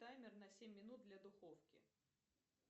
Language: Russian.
таймер на семь минут для духовки